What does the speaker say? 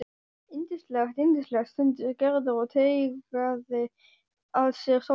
Yndislegt, yndislegt stundi Gerður og teygaði að sér sólina.